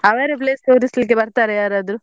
ಅವರೆ place ತೋರಿಸ್ಲಿಕ್ಕೆ ಬರ್ತಾರಾ ಯಾರದ್ರೂ?